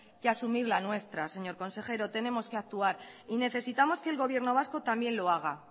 que asumir la nuestra señor consejero tenemos que actuar y necesitamos que el gobierno vasco también lo haga